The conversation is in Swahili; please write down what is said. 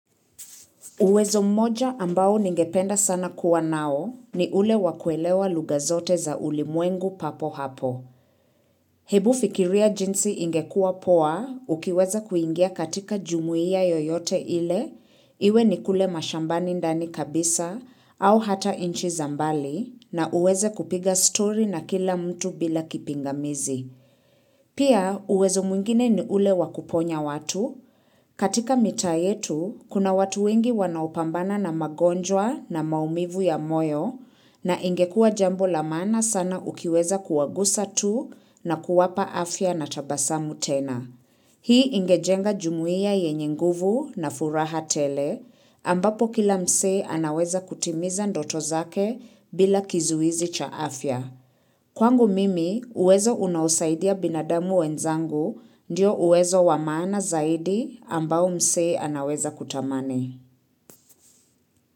Uwezo mmoja ambao ningependa sana kuwa nao ni ule wakuelewa lugha zote za ulimwengu papo hapo. Hebu fikiria jinsi ingekua poa ukiweza kuingia katika jumuia yoyote ile iwe ni kule mashambani ndani kabisa au hata inchi za mbali na uweze kupiga story na kila mtu bila kipingamizi. Pia uwezo mwingine ni ule wakuponya watu. Katika mitaa yetu, kuna watu wengi wanaopambana na magonjwa na maumivu ya moyo, na ingekua jambo la maana sana ukiweza kuwagusa tu na kuwapa afya na tabasamu tena. Hii ingejenga jumuia yenye nguvu na furaha tele, ambapo kila mse anaweza kutimiza ndoto zake bila kizuizi cha afya. Kwangu mimi uwezo unaosaidia binadamu wenzangu ndio uwezo wa maana zaidi ambao mse anaweza kutamani.